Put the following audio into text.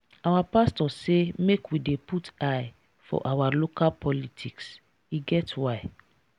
our pastor say make we dey put eye for our local politics e get why.